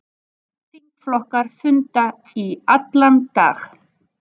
Þingflokkar funda í allan dag